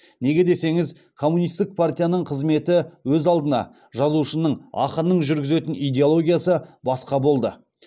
неге десеңіз коммунистік партияның қызметі өз алдына жазушының ақынның жүргізетін идеологиясы басқа болды